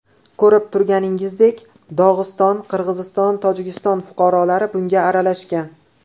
Ko‘rib turganingizdek, Dog‘iston, Qirg‘iziston, Tojikiston fuqarolari bunga aralashgan.